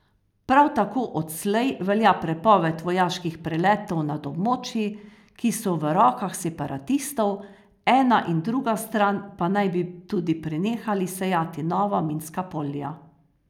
Prav tako odslej velja prepoved vojaških preletov nad območji, ki so v rokah separatistov, ena in druga stran pa naj bi tudi prenehali sejati nova minska polja.